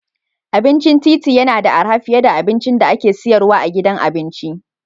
Abincin titi yana da arha fiye da abincin da ake sayarwa a gidan abinci.